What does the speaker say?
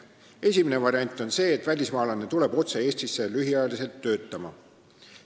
Esimene variant on see, et välismaalane tuleb otse Eestisse lühiajaliselt töötama.